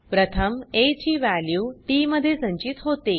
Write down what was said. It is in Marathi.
प्रथम आ ची वॅल्यू टीटी मध्ये संचित होते